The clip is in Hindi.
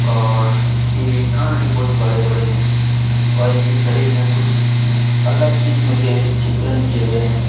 और इसके कान भी बहुत बड़े-बड़े है और इसके शरीर में कुछ अलग किस्म के चित्रण किए गए हैं।